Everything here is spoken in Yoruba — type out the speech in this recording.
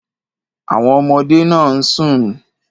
Àwon ọmọdé náà ń sùn.